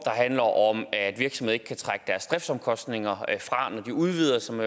handler om at virksomheder ikke kan trække deres driftsomkostninger fra når de udvider og som